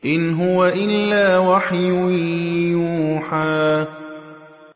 إِنْ هُوَ إِلَّا وَحْيٌ يُوحَىٰ